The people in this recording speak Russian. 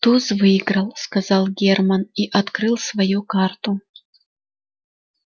туз выиграл сказал герман и открыл свою карту